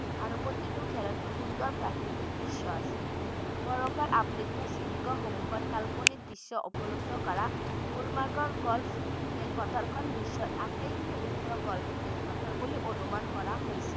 আৰু প্ৰতিটো খেলতে সুন্দৰ প্ৰাকৃতিক দৃশ্য আছে বৰফৰ আবৃত শৃঙ্গ সমূহৰ কাল্পনিক দৃশ্য উপলব্ধ কৰা গুলমাৰ্গৰ গল্ফ খেলপথাৰ খন বিশ্বৰ আটাইতকৈ উচ্চ গল্ফ খেলপথাৰ বুলি অনুমান কৰা হৈছে।